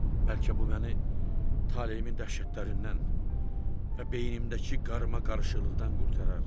Bəlkə bu məni taleyimin dəhşətlərindən və beynimdəki qarmaqarışıqlıqdan qurtarar.